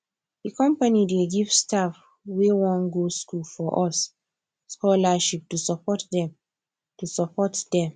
di company dey give staff wey wan go school for us scholarship to support them to support them